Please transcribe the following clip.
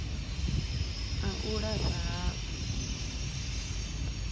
a u lafha ha u